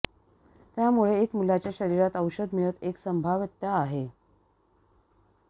त्यामुळे एक मुलाच्या शरीरात औषध मिळत एक संभाव्यता आहे